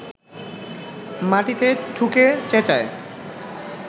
মাটিতে ঠুকে চেঁচায়